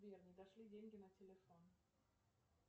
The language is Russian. сбер не дошли деньги на телефон